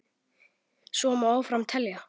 Svo má áfram telja.